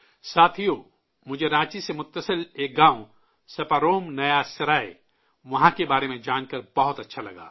ساتھیو، مجھے رانچی سے سٹے ایک گاؤں سپاروم نیا سرائے، وہاں کے بارے میں جان کر بہت اچھا لگا